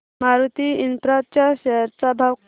Maruti Infra च्या share चा भाव किती